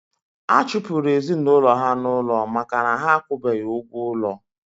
A chụpụrụ ezinụlọ ya n'ụlọ maka na ha akwụbeghi ụgwọ ụlọ